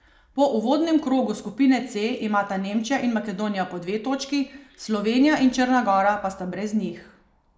Po uvodnem krogu skupine C imata Nemčija in Makedonija po dve točki, Slovenija in Črna gora pa sta brez njih.